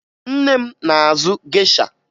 Nne m na-azụ gesha